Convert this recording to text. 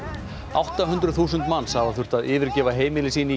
átta hundruð þúsund manns hafa þurft að yfirgefa heimili sín í